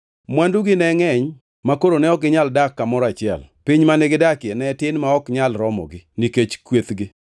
Mwandugi ne ngʼeny makoro ne ok ginyal dak kamoro achiel; piny mane gidakie ne tin ma ok nyal romogi nikech kwethgi.